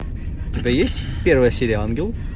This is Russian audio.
у тебя есть первая серия ангел